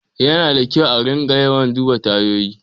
Yana da kyau a riƙa yawan duba tayoyi.